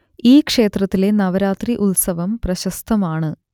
ഈ ക്ഷേത്രത്തിലെ നവരാത്രി ഉത്സവം പ്രശസ്തമാണ്